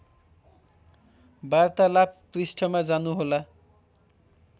वार्तालाप पृष्ठमा जानुहोला